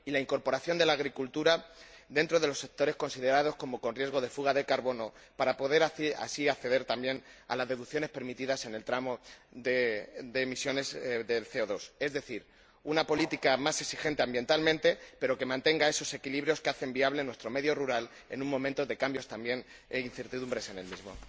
y la incorporación de la agricultura dentro de los sectores considerados como con riesgo de fuga de carbono para poder así acceder, también, a las deducciones permitidas en el tramo de emisiones de CO 2 Es decir, una política, más exigente ambientalmente, pero que mantenga esos equilibrios que hacen viable nuestro medio rural en un momento de cambios, también, e incertidumbres en el mismo.